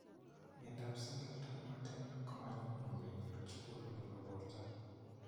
Myondap singleton merten ko ma nyumnyum kenyor, chukur neebo borto.